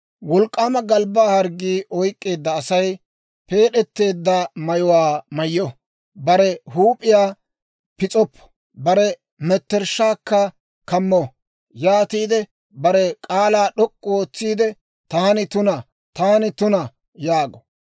«Wolk'k'aama galbbaa harggii oyk'k'eedda Asay peed'eteedda mayuwaa mayyo; bare huup'iyaa pis'oppo; bare mettershshaakka kammo; yaatiide, bare k'aalaa d'ok'k'u ootsiide, ‹Taani tuna, taani tuna!› yaago.